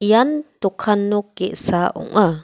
ian dokan nok ge·sa ong·a.